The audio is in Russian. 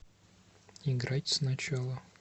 играть сначала